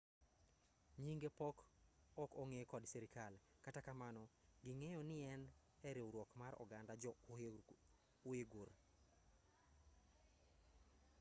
nyinge pod ok ong'e kod sirkal kata kamano ging'eyo nien eriwruok mar oganda jo-uighur